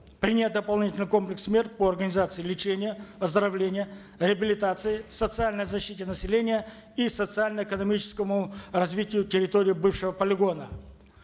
принять дополнительный комплекс мер по организации лечения оздоровления реабилитации социальной защите населения и социально экономическому развитию территории бывшего полигона